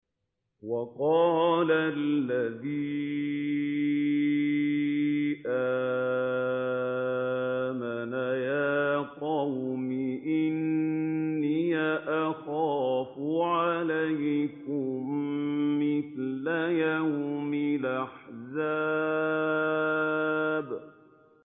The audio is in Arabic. وَقَالَ الَّذِي آمَنَ يَا قَوْمِ إِنِّي أَخَافُ عَلَيْكُم مِّثْلَ يَوْمِ الْأَحْزَابِ